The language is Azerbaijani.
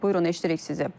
Buyurun eşidirik sizi.